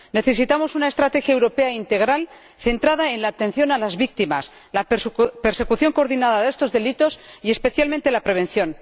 Necesitamos una estrategia europea integral centrada en la atención a las víctimas, la persecución coordinada de estos delitos y, especialmente, la prevención.